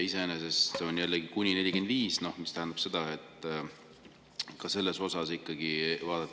Iseenesest see "kuni 45" tähendab seda, et.